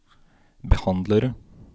behandlere